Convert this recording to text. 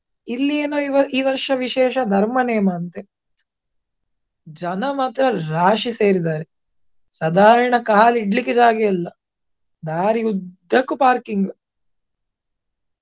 ಇಲ್ಲಿ ಏನೋ ಈ ಈ ವರ್ಷ ವಿಶೇಷ ಧರ್ಮ ನೇಮ ಅಂತೆ. ಜನ ಮಾತ್ರ ರಾಶಿ ಸೇರಿದ್ದಾರೆ. ಸಾಧಾರಣ ಕಾಲ್ ಇಡ್ಲಿಕ್ಕೆ ಜಾಗ ಇಲ್ಲ ದಾರಿ ಉದ್ದಕ್ಕೂ parking .